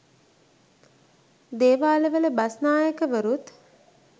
දේවාලවල බස්නායකවරුත්